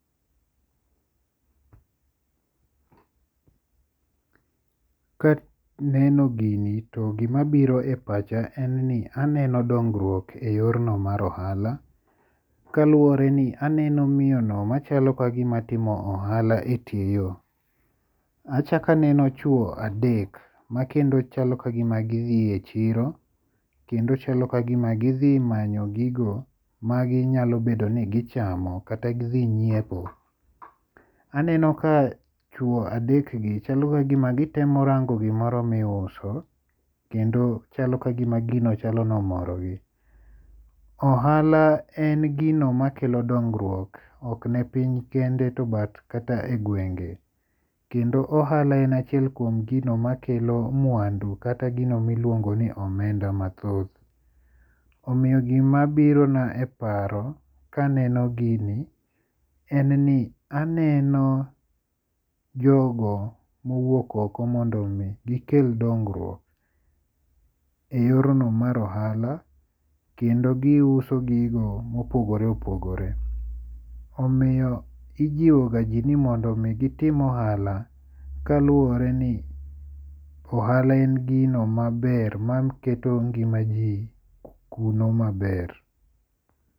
Kaneno gini to gima biro e pacha en ni aneno dongruok e yorno mar ohala. Kaluwore ni aneno miyono machalo kagima timo ohala e tie yo. Achak aneno chuo adek makendo chalo kagima gi dhi e chiro. Kendo chalo kagima gidhi manyo gigo maginyalo bedo ni gichamo kata gidhi nyiepo. Aneno ka chuo adek gi chalo kagima gitemo rango gimoro ma iuso kendo chalo kagima gino chalo ni omorogi. Ohala en gino makelo dongruok ok ne piny kende to but kata e gwenge. Kendo ohala en achiel kuom gino makelo mwandu kata gino miluongo ni omenda mathoth. Omiyo gima biro na e paro kaneno gini en ni aneno jogo mowuok oko mondo mi gikel dongruok e yorno mar ohala kendo giuso gigo mopogore opogore. Omiyo ijiwo ga ji ni mondo mi gitim ohala kaluwore ni ohala en gino maber maketo ngima ji kuno maber.